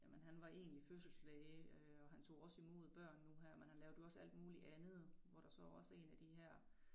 Jamen han var egentlig fødselslæge øh og han tog også imod børn nu her men han lavede jo også alt muligt andet hvor der så også 1 af de her